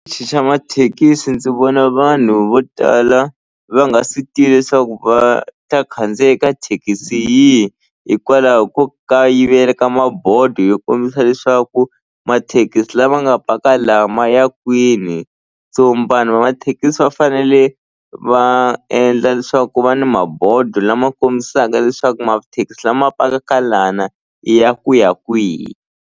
xa mathekisi ndzi vona vanhu vo tala va nga swi tivi leswaku va ta khandziya eka thekisi yihi hikwalaho ko kayivela ka mabodo yo kombisa leswaku mathekisi lama nga paka la ya kwini so vanhu va mathekisi va fanele va endla leswaku ku va ni mabodo lama kombisaka leswaku mathekisi lama pakaka lana i ya ku ya kwihi.